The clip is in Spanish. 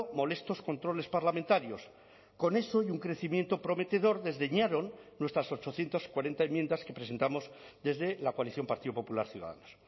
molestos controles parlamentarios con eso y un crecimiento prometedor desdeñaron nuestras ochocientos cuarenta enmiendas que presentamos desde la coalición partido popular ciudadanos